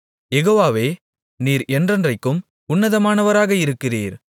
யெகோவாவே நீர் என்றென்றைக்கும் உன்னதமானவராக இருக்கிறீர்